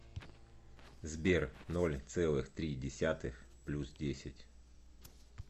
сбер ноль целых три десятых плюс десять